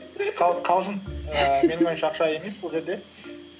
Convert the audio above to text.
қалжың ііі менің ойымша ақша емес бұл жерде